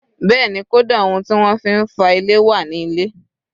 Bẹ́ẹ̀ni, kódà ohun tí wọ́n fi ń fá ilé wà ní ilé